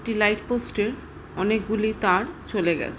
একটি light post -এর অনেকগুলি তার চলে গেছে।